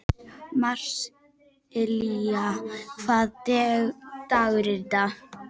Marsilía, hvaða dagur er í dag?